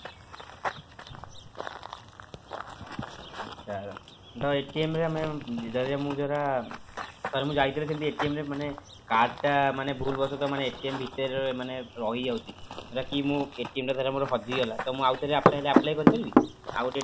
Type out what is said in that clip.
ଆଚ୍ଛା ତ ରେ ଆମେ ଯଦି ମୁଁ ଧର ଧର ମୁଁ ଯାଇଥିଲି ସେମିତି ରେ ମାନେ card ଟା ମାନେ ଭୁଲ ବଶତଃ ଭିତରେ ମାନେ ରହିଯାଉଛି କି ଟା ଧର ମୋର ହଜିଗଲା ତ ଆଉ ଥରେ ମୁଁ apply କରିପାରିବି ଆଉ ଗୋଟେ ନୂଆ